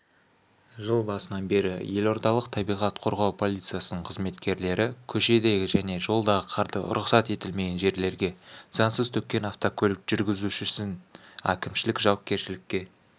жыл басынан бері елордалық табиғат қорғау полициясының қызметкерлері көшедегі және жолдағы қарды рұқсат етілмеген жерлерге заңсыз төккен автокөлік жүргізушісін әкімшілік жауапкершілікке